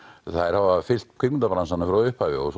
þær hafa fylgt kvikmyndabransanum frá upphafi og